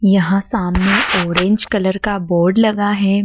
यहां सामने orange colour का बोर्ड लगा है।